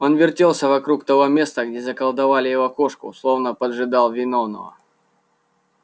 он вертелся вокруг того места где заколдовали его кошку словно поджидал виновного